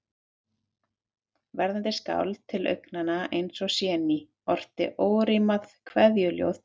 Verðandi skáld, til augnanna eins og séníin, orti órímað kveðjuljóð til